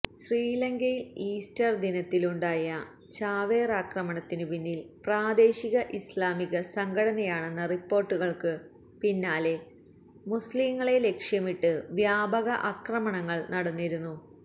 ശ്രീലങ്കയിൽ ഈസ്റ്റർ ദിനത്തിലുണ്ടായ ചാവേറാക്രമണത്തിനുപിന്നില് പ്രാദേശിക ഇസ്ലാമിക സംഘടനയാണെന്ന റിപ്പോര്ട്ടുകള്ക്കു പിന്നാലെ മുസ്ലിങ്ങളെ ലക്ഷ്യമിട്ട് വ്യാപക ആക്രമണങ്ങള് നടന്നിരുന്നു